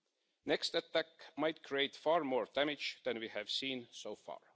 The next attack might create far more damage than we have seen so far.